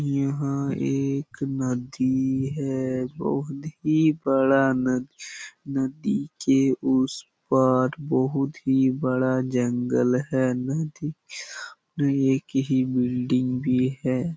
यहाँ एक नदी है बहुत ही बड़ा नदी नदी के उस पार बहुत ही बड़ा जंगल है नदी किनारे एक ही बिल्डिंग भी है।